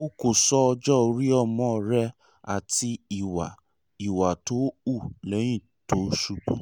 o kò sọ ọjọ́-orí ọmọ rẹ àti ìwà ìwà tó hù lẹ́yìn tó ṣubú